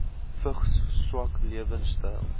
vigs swak lewensstyle